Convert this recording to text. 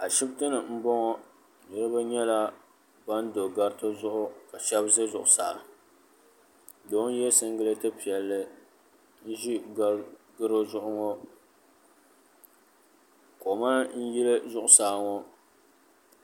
Ashibiti m-bɔŋɔ niriba nyɛla ban do gariti zuɣu ka shɛba ʒe zuɣusaa doo n-ye siŋgileeti piɛlli n-ʒi garo zuɣu ŋɔ koma n-yili zuɣusaa ŋɔ.